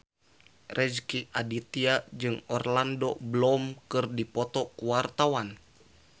Rezky Aditya jeung Orlando Bloom keur dipoto ku wartawan